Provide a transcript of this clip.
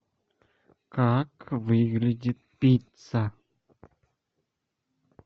как выглядит пицца